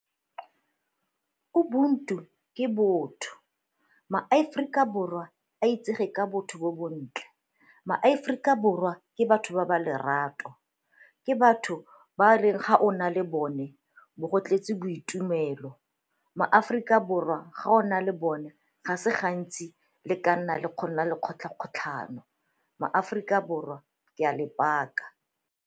Ubuntu ke botho. MaAforika Borwa a itsege ka botho bo bontle, maAforika Borwa ke batho ba ba lerato, ke batho ba e reng ga o o na le bone o bo go tletse boitumelo, maAforika Borwa ga o na le bone ga se gantsi le ka nna le go nna le kgotlha-kgotlhano maAforika Borwa ke a le baka.